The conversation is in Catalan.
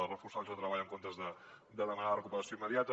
és reforçar els llocs de treball en comptes de demanar ne la recuperació immediata